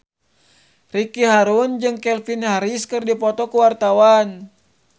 Ricky Harun jeung Calvin Harris keur dipoto ku wartawan